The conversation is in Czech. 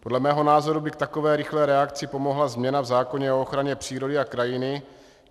Podle mého názoru by k takové rychlé reakci pomohla změna v zákoně o ochraně přírody a krajiny.